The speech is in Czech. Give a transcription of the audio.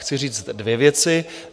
Chci říct dvě věci.